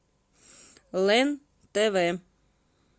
лен тв